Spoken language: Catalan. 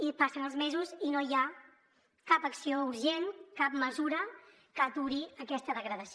i passen els mesos i no hi ha cap acció urgent cap mesura que aturi aquesta degradació